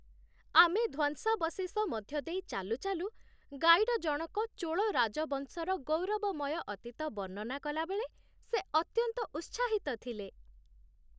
ଆମେ ଧ୍ୱଂସାବଶେଷ ମଧ୍ୟ ଦେଇ ଚାଲୁଚାଲୁ, ଗାଇଡ ଜଣକ ଚୋଳ ରାଜବଂଶର ଗୌରବମୟ ଅତୀତ ବର୍ଣ୍ଣନା କଲାବେଳେ ସେ ଅତ୍ୟନ୍ତ ଉତ୍ସାହିତ ଥିଲେ।